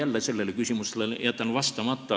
Ma sellele küsimusele jätan jälle vastamata.